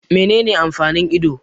Menene amfanin ido?